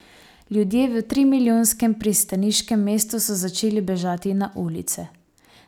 Ljudje v trimilijonskem pristaniškem mestu so začeli bežati na ulice.